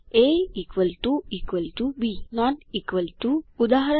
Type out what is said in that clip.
A B not equal to ઉદા